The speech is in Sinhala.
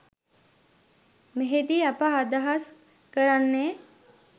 මෙහිදී අප අදහස් කරන්නේ